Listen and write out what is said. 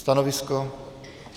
Stanovisko?